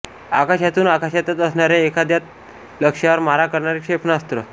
आकाशातून आकाशातच असणाऱ्या एखाद्या लक्ष्यावर मारा करणारे क्षेपणास्त्र